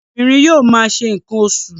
Obìnrin yóò ma ṣe nǹkan oṣù.